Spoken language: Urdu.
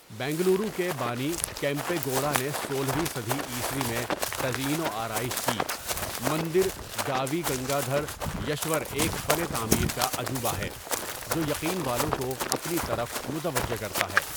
بنگلورو کے بانی کیمپے گوڈا نے سولہویں صدی عیسوی میں تزئین و آرائش کی، مندر گاوی گنگادھریشور ایک فن تعمیر کا عجوبہ ہے جو یقین والوں کو اپنی طرف متوجہ کرتا ہے۔